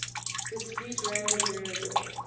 discrete random variable